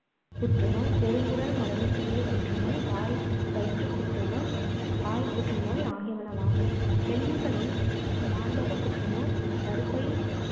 புற்றுநோய், பெருங்குடல் மடலுக்குரிய புற்று நோய், வாய்~ வயிற்றுப் புற்றுநோய், வாய்ப் புற்றுநோய் ஆகியனவாகும். பெண்களில் மார்பகப் புற்றுநோய், கருப்பப்பை